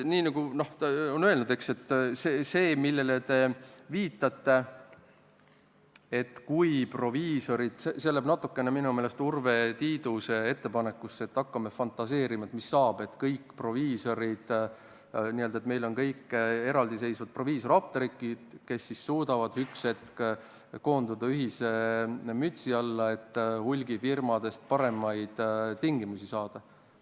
Aga see, millele te viitate – minu meelest seostub see natukene Urve Tiiduse ettepanekuga, et hakkame fantaseerima, mis saaks siis, kui kõik apteegid oleksid meil eraldiseisvad proviisorapteegid, kes ühel hetkel suudaksid koonduda ühise mütsi alla, et hulgifirmadelt paremaid tingimusi saada.